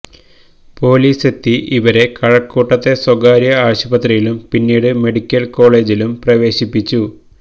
പൊലിസെത്തി ഇവരെ കഴക്കൂട്ടത്തെ സ്വകാര്യ ആശുപത്രിയിലും പിന്നീട് മെഡിക്കല് കോളജിലും പ്രവേശിപ്പിച്ചു